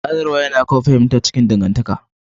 Sadarwa yana kawo fahimta a cikin dangantaka.